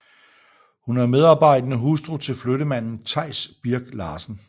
Hun er medarbejdende hustru til flyttemanden Theis Birk Larsen